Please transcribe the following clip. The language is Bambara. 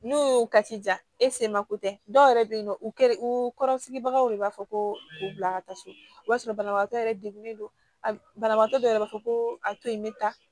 N'o y'o ka ci ja e se ma ko tɛ dɔwɛrɛ bɛ ye nɔ u kɛrɛ o kɔrɔ sigibagaw de b'a fɔ ko u bila ka taa so o b'a sɔrɔ banabagatɔ yɛrɛ degunnen don a banabagatɔ dɔ yɛrɛ b'a fɔ ko a toyi me taa